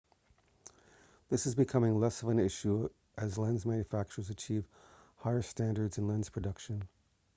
this is becoming less of an issue as lens manufacturers achieve higher standards in lens production